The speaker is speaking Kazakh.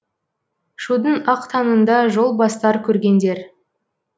шудың ақ таңында жол бастар көргендер